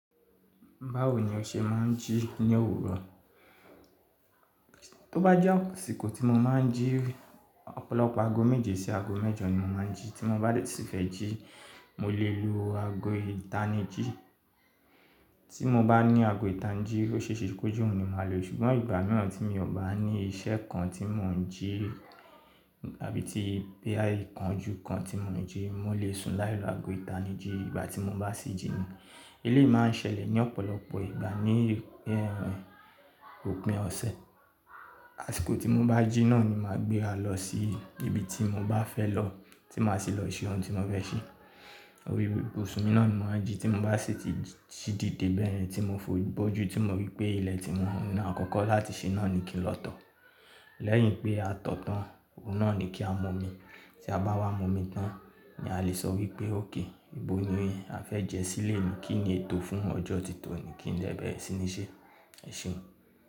Báwo ni o ṣe máa ń jí ní òwúrọ̀? Tó bá jẹ́ àsìkò tí mo máa ń jí, ọ̀pọ̀lọpọ̀ aago méje sí aago mẹ́jọ ni mo máa ń jí. Tí mo bá sì fẹ́ jí, mo lè lo aago ìta ni jí. Tí mo bá ní aago ìta ni jí ló ṣe èsì kó jù n ni màá lò, ṣùgbọ́n ìgbà mìíràn tí mi ò bá ní iṣẹ́ kan tí mò ń jí àbí tí pé àì kan ojú kan tí mò ń jí, mò lè sùn láì lo aago ìta ni jí ìgbà tí mo bá sì jina. Eléyìí má n sẹlẹ̀ ní ọ̀pọ̀lọpọ̀ ìgbà ní ẹhn òpin ọ̀sẹ̀. Àsìkò tí mo bá jí náà ni màá gbé a lọ sí ibi tí mo bá fẹ́ lọ tí màá sì lọ ṣe ohun tí mò fẹ́ ṣe. Orí ibùsùn mi náà ni màá jí tí mo bá sì ti díde bẹ́ẹ̀yen tí mo fi omi ibojú tí mo rí pé ilẹ̀ tí mo rí náà kọ́kọ́ láti ṣe náà ni kí n lọ to Lẹ́yìn pé a to tán, oun náà ni kí a mu omi Tí a bá wá mu omi tán ni a lè sọ wípé, "òkay ìbò nìyẹn, a fẹ́ jẹ sí leni, kí ni ètò fún ọjọ́ títò ni, kí n lè bẹ̀rẹ̀ sí ní ṣe ẹṣeun.